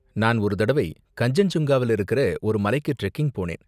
நான் ஒரு தடவை கன்சென்ஜுங்காவுல இருக்கற ஒரு மலைக்கு ட்ரெக்கிங் போனேன்.